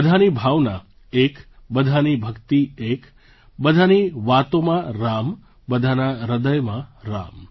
બધાની ભાવના એક બધાની ભક્તિ એક બધાની વાતોમાં રામ બધાનાં હૃદયમાં રામ